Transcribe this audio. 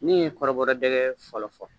Min ye kɔrɔbɔ dɛgɛ fɔlɔ fɔ